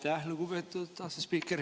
Aitäh, lugupeetud asespiiker!